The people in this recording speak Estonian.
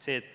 See, et